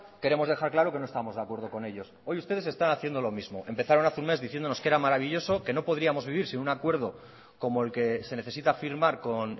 queremos dejar claro que no estamos de acuerdo con ellos hoy ustedes están haciendo lo mismo empezaron hace un mes diciéndonos que era maravilloso que no podríamos vivir sin un acuerdo como el que se necesita firmar con